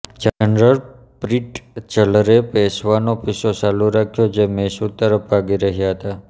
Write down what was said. general પ્રિટ્ઝલરે પેશવાનો પીછો ચાલુ રાખ્યો જે મૈસૂર તરફ ભાગી રહ્યા હતા